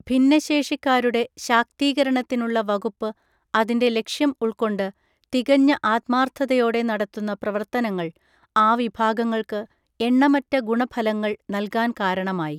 ഭിന്നശേഷിക്കാരുടെ ശാക്തീകരണത്തിനുള്ള വകുപ്പ് അതിൻ്റെ ലക്ഷ്യം ഉൾക്കൊണ്ട് തികഞ്ഞ ആത്മാർത്ഥതയോടെ നടത്തുന്ന പ്രവർത്തനങ്ങൾ ആ വിഭാഗങ്ങൾക്ക് എണ്ണമറ്റ ഗുണഫലങ്ങൾ നല്കാൻ കാരണമായി.